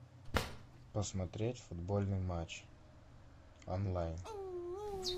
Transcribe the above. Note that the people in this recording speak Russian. посмотреть футбольный матч онлайн